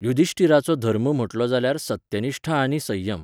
युधिष्टिराचो धर्म म्हटलो जाल्यार सत्यनिश्ठा आनी संयम.